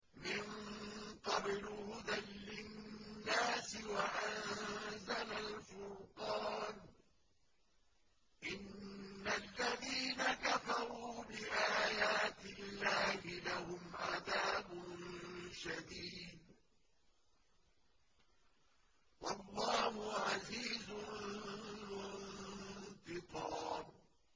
مِن قَبْلُ هُدًى لِّلنَّاسِ وَأَنزَلَ الْفُرْقَانَ ۗ إِنَّ الَّذِينَ كَفَرُوا بِآيَاتِ اللَّهِ لَهُمْ عَذَابٌ شَدِيدٌ ۗ وَاللَّهُ عَزِيزٌ ذُو انتِقَامٍ